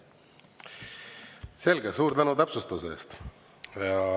Selge, suur tänu täpsustuse eest!